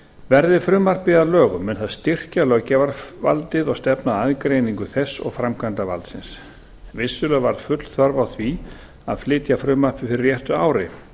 verði frumvarpið að lögum mun það styrkja löggjafarvaldið og stefna að aðgreiningu þess og framkvæmdarvaldsins vissulega var full þörf á því að flytja frumvarpið fyrir réttu ári